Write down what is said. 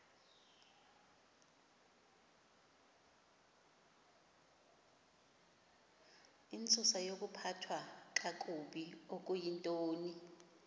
intsusayokuphathwa kakabi okuyintoni